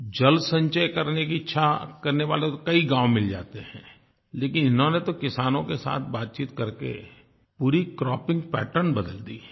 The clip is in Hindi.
जल संचय करने की इच्छा करने वाले तो कई गाँव मिल जाते हैं लेकिन इन्होंने तो किसानों के साथ बातचीत करके पूरी क्रॉपिंग पैटर्न बदल दी